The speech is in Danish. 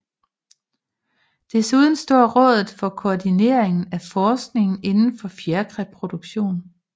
Desuden står rådet for koordineringen af forskningen indenfor fjerkræproduktion